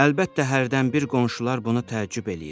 Əlbəttə hərdən bir qonşular buna təəccüb eləyirdilər.